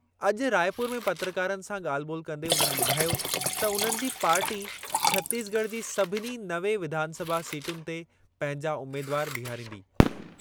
अॼु रायपुर में पत्रकारनि सां ॻाल्हि ॿोलि कंदे उन्हनि ॿुधायो त उन्हनि जी पार्टी छतीसगढ़ जी सभिनी नवे विधानसभा सीटुनि ते पंहिंजा उमेदवारु बीहारींदी।